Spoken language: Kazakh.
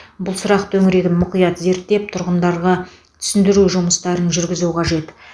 бұл сұрақ төңірегін мұқият зерттеп тұрғындарға түсіндіру жұмыстарын жүргізу қажет